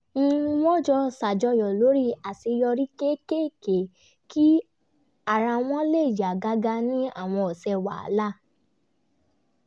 wọ́n jọ ṣàjọyọ̀ lórí àṣeyọrí kéékèèké kí ara wọn lè yá gágá ní àwọn ọ̀sẹ̀ wàhálà